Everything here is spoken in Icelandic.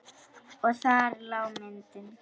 Og þar lá myndin.